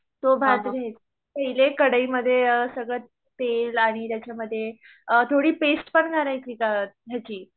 तो भात घ्यायचा कढईमध्ये सगळं तेल आणि त्याच्या मध्ये थोडी पेस्टपण घालायची का ह्याची